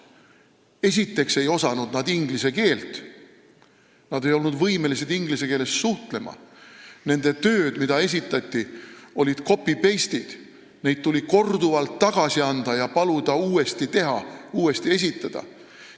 Esiteks ei osanud nad inglise keelt, nad ei olnud võimelised inglise keeles suhtlema, tööd, mis nad esitasid, olid tehtud copy-paste-meetodil, neid töid tuli korduvalt tagasi anda ja paluda uuesti teha, uuesti esitada.